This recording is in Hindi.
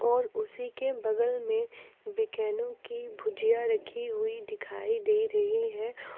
और उसी के बगल में बिकानों की भुजिया रखी हुई दिखाई दे रही है।